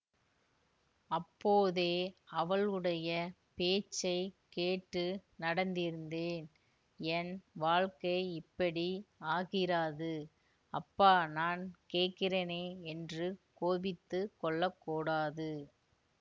அப்போதே அவளுடைய பேச்சை கேட்டு நடந்திருந்தேன் என் வாழ்க்கை இப்படி ஆகிராது அப்பா நான் கேட்கிறேனே என்று கோபித்துக்கொள்ளக் கூடாது